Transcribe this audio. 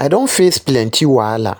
I don face plenty wahala,